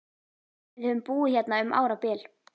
Við höfum búið hérna um árabil!